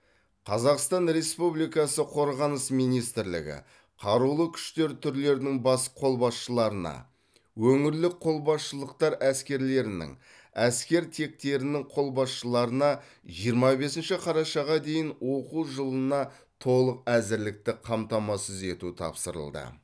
қазақстан республикасы қорғаныс министрлігі қарулы күштер түрлерінің бас қолбасшыларына өңірлік қолбасшылықтар әскерлерінің әскер тектерінің қолбасшыларына жиырма бесінші қарашаға дейін оқу жылына толық әзірлікті қамтамасыз ету тапсырылды